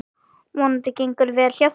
Vonandi gengur vel hjá þeim.